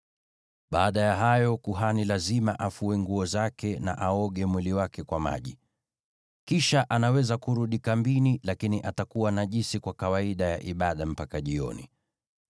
Baada ya hayo, kuhani lazima afue nguo zake, na aoge mwili wake kwa maji. Kisha anaweza kurudi kambini, lakini atakuwa najisi kwa kawaida ya ibada mpaka jioni.